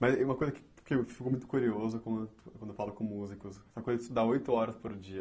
Mas e uma coisa que que eu fico muito curioso por quando eu falo com músicos, é a coisa de estudar oito horas por dia.